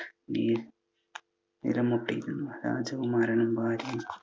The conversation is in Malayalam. നിലം മുട്ടിയിരുന്നു. രാജകുമാരനും ഭാര്യയും